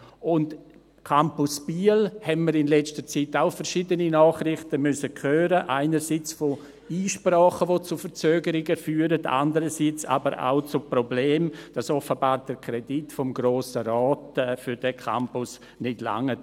Zum Campus Biel haben wir in letzter Zeit auch verschiedene Nachrichten hören müssen, einerseits von Einsprachen, die zu Verzögerungen führen, andererseits aber auch von Problemen, dass offenbar der Kredit des Grossen Rates für diesen Campus nicht reicht.